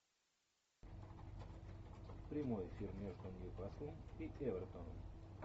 прямой эфир между ньюкаслом и эвертоном